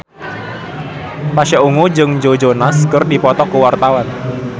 Pasha Ungu jeung Joe Jonas keur dipoto ku wartawan